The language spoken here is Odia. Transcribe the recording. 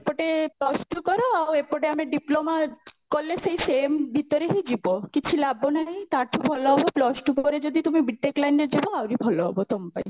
ଏପଟେ plus two କର ଆଉ ଏପଟେ ଆମେ diploma କଲେ ସେଇ same ଭିତରେ ହିଁ ଯିବ କିଛି ଲାଭ ନାହିଁ ତା ଠୁ ଭଲ ହବ plus two ପରେ ଯଦି ତୁମେ B.TECH line ରେ ଯାଅ ଆହୁରି ଭଲ ହବ ତମ ପାଇଁ